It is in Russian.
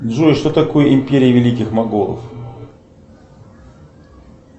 джой что такое империя великих монголов